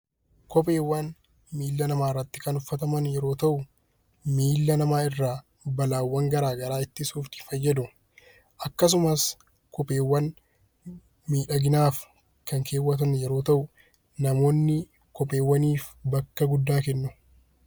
Koheewwan miilla namaa irratti kan uffataman yoo ta'u, miilla namaa irraa balaawwan gara garaa ittisuuf fayyadu. Akkasumas kopheewwan miidhaginaaf kan keewwatamu yeroo ta'u, namoonni kopheewwaniif bakka guddaa kennu.